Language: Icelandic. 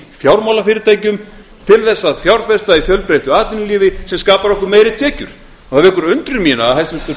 fjármálafyrirtækjum til þess að fjárfesta í fjölbreyttu atvinnulífi sem skapar okkur meiri tekjur það vekur undrun mína að hæstvirtur